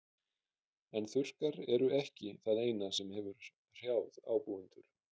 En þurrkar eru ekki það eina sem hefur hrjáð ábúendur.